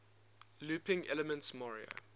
looping elements mario